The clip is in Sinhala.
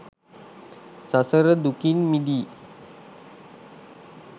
සසර දුකින් මිදී